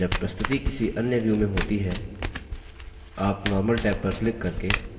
आप normal tab पर click करके normal view में वापस आ सकते हैं